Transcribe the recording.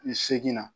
Ni segin na